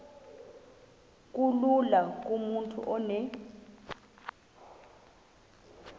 kulula kumntu onen